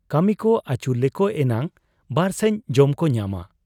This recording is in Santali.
ᱠᱟᱹᱢᱤᱠᱚ ᱟᱹᱪᱩᱞᱮᱠᱚ ᱮᱱᱟᱝ ᱵᱟᱨᱥᱟᱸᱡᱽ ᱡᱚᱢᱠᱚ ᱧᱟᱢᱟ ᱾